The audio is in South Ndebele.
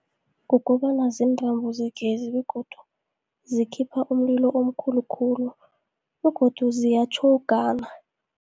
Kukobana ziintrambo zegezi begodu zikhipha umlilo omkhulukhulu, begodu ziyatjhowugana.